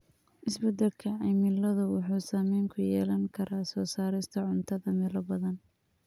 Isbedelka cimiladu wuxuu saameyn ku yeelan karaa soo saarista cuntada meelo badan.